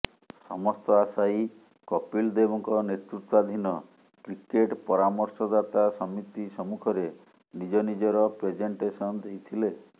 ସମସ୍ତ ଆଶାୟୀ କପିଲ ଦେବଙ୍କ ନେତୃତ୍ବାଧିନ କ୍ରିକେଟ୍ ପରାମର୍ଶଦାତା ସମିତି ସମ୍ମୁଖରେ ନିଜ ନିଜର ପ୍ରେଜେଣ୍ଟେସନ ଦେଇଥିଲେ